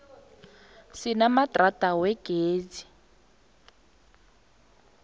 sinamadrada wegezi